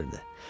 Qoca qışqırdı.